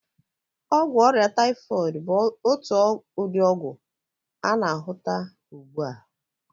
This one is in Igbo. Ọgwụ ọrịa taịfọịdị bụ otu ụdị ọgwụ a na-ahụta ụgbụ a.